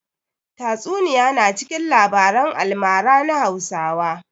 Tatsuniya na cikin labaran almara na Hausawa.